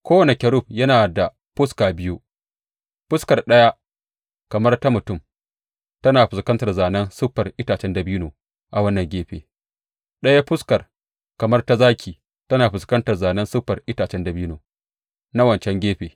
Kowane kerub yana da fuska biyu, fuskar ɗaya kamar ta mutum tana fuskantar zānen siffar itacen dabino a wannan gefe, ɗaya fuskar kamar ta zaki tana fuskantar zānen siffar itacen dabino na wancan gefe.